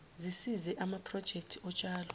zisize amaprojekthi otshalo